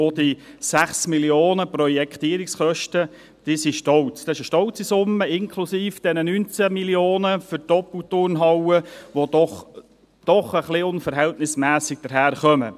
Auch die 6 Mio. Franken Projektierungskosten sind eine stolze Summe, inklusive der 19 Mio. Franken für die Doppelturnhalle, die doch etwas unverhältnismässig daherkommt.